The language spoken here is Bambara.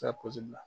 Taa la